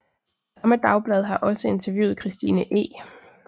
Samme dagblad har også interviewet Christine E